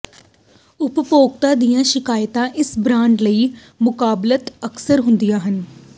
ਉਪਭੋਗਤਾ ਦੀਆਂ ਸ਼ਿਕਾਇਤਾਂ ਇਸ ਬ੍ਰਾਂਡ ਲਈ ਮੁਕਾਬਲਤਨ ਅਕਸਰ ਹੁੰਦੀਆਂ ਹਨ